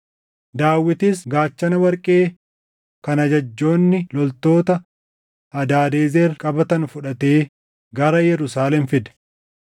Daawitis gaachana warqee kan ajajjoonni loltoota Hadaadezer qabatan fudhatee gara Yerusaalem fide.